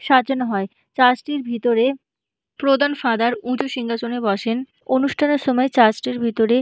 সাজানো হয় চার্চ টির ভিতরে প্রধান ফাদার উঁচু সিংহাসনে বসেন অনুষ্ঠান এর সময় চার্চ টির ভিতরে |